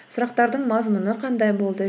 сұрақтардың мазмұны қандай болды